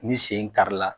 Ni sen kari la